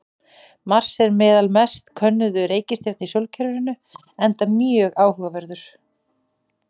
Mars er meðal mest könnuðu reikistjarna í sólkerfinu enda mjög áhugaverður.